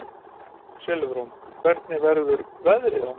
Silfrún, hvernig verður veðrið á morgun?